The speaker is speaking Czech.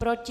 Proti?